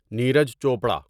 Neeraj Chopra